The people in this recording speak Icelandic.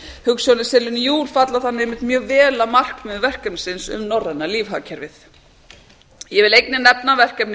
hugsjónir selinu á falla þannig vel að markmiðum verkefnisins um norræna lífhagkerfið ég vil einnig nefna verkefnið